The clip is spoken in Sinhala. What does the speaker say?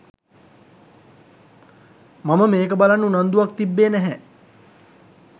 මම මේක බලන්න උනන්දුවක් තිබ්බේ නැහැ.